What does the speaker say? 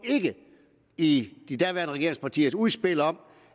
i de daværende regeringspartiers udspil om